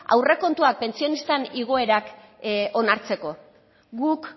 aurrekontuak pentsionistan igoerak onartzeko guk